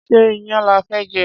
Ṣé iyán lafẹ́ jẹ?